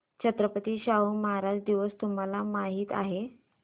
छत्रपती शाहू महाराज दिवस तुम्हाला माहित आहे